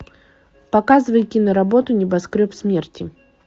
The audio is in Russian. показывай киноработу небоскреб смерти